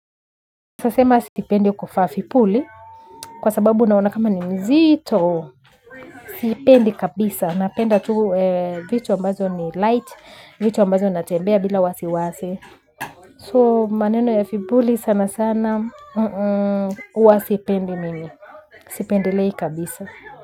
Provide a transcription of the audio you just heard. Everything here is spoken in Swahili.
Nasema sipendi kuvaa vipuli, kwa sababu naona kama ni nzito, sipendi kabisa, napenda tu vitu ambazo ni light, vitu ambazo natembea bila wasi wasi. So maneno ya vipuli sana sana, uwasipendi mimi, sipendilei kabisa.